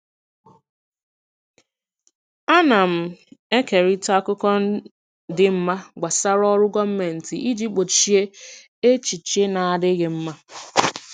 Ana m ekerịta akụkọ dị mma gbasara ọrụ gọọmentị iji gbochie echiche na-adịghị mma.